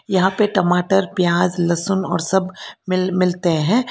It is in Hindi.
यहां पे टमाटर प्याज लहसुन और सब मिल मिलते हैं।